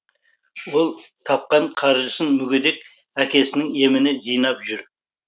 ол тапқан қаржысын мүгедек әкесінің еміне жинап жүр